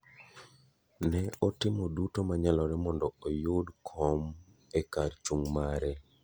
Ne otimo duto manyalore mondo oyud kom e kar chung' mare.